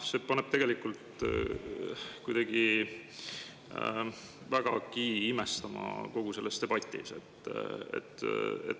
See paneb mind kogu selle debati puhul kuidagi väga imestama.